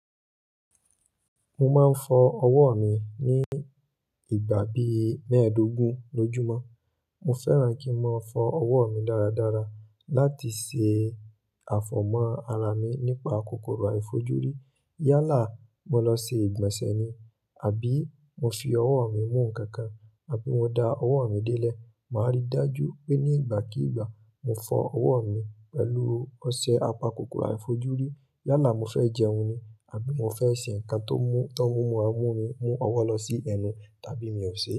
Mo máa ń fọ ọwọ́ mi ní ìgbà bí mẹ́ẹ̀ẹ́dógún lójúmọ́. Mo fẹ́ràn kí n máa fọ ọwọ́ mi dáradára láti ṣe àfọ̀mọ́ ara mi nípa kòkòrò àìfojúrí. Yálà mo lọ ṣe ìgbọ̀nsẹ̀ ni, àbí mo fi ọwọ́ mi mú nǹkan kan, àbí mo da ọwọ́ mi délẹ̀, màá rí i dájú pé ní ìgbàkíìgbà mo fọ ọwọ́ mi pẹ̀lú ọṣẹ apakòkòrò àìfojúrí. Yálà mo fẹ́ jẹun ni, àbí mo fẹ́ ṣe nǹkan tó múra mú mi mú ọwọ́ lọ sí ẹnu, tàbí mi ò ṣe.